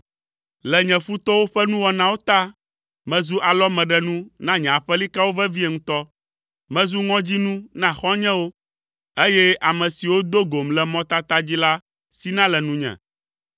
Le nye futɔwo ƒe nuwɔnawo ta mezu alɔmeɖenu na nye aƒelikawo vevie ŋutɔ. Mezu ŋɔdzinu na xɔ̃nyewo, eye ame siwo do gom le mɔtata dzi la sina le nunye.